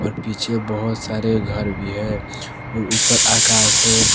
और पीछे बहुत सारे घर भी हैं और ऊपर आकाश है।